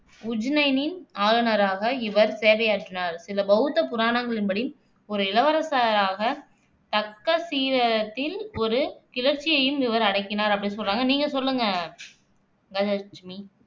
உஜ்ஜைனின் ஆளுநராக இவர் சேவையாற்றினார். சில பௌத்த புராணங்களின் படி, ஓரு இளவரசராக தக்சசீலத்தின் ஒரு கிளர்ச்சியையும் இவர் அடக்கினார் அப்படின்னு சொல்றாங்க நீங்க சொல்லுங்க கஜலட்சுமி